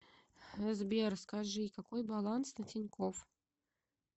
сбер скажи какой баланс на тинькофф